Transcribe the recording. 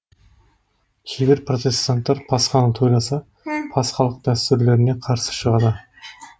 кейбір протестанттар пасханы тойласа пасхалық дәстүрлеріне қарсы шығады